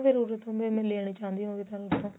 ਫੇਰ ਉਰੇ ਤੋਂ ਮੈਂ ਲੈਣਾ ਚਾਹਉਂਦੀ ਹੋਵਾ ਤੁਹਾਡੇ ਤੋਂ